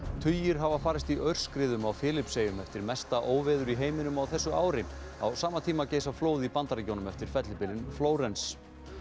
tugir hafa farist í aurskriðum á Filippseyjum eftir mesta óveður í heiminum á þessu ári á sama tíma geisa flóð í Bandaríkjunum eftir fellibylinn Flórens